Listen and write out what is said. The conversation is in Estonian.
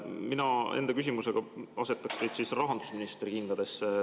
Mina enda küsimusega asetaks teid rahandusministri kingadesse.